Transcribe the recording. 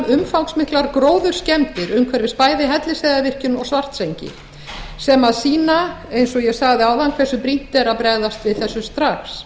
umfangsmiklar gróðurskemmdir umhverfis bæði hellisheiðarvirkjun og svartsengi sem sýna eins og ég sagði áðan hversu brýnt er að bregðast við þessu strax